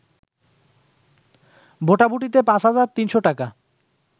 ভোটাভুটিতে ৫৩০০ টাকা